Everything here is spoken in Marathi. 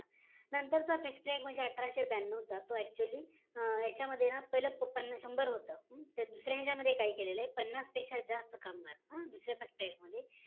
नंतर चा factory act म्हणजे तो अठराशे ब्यानऊ चा तो actually यांच्यामध्ये ना पाहिलं शंभर होत तर दुसर्या मध्ये काय केलं गेली पन्नास पेक्ष्या जास्त कामगार दुसऱ्या FACTORY ACT मध्ये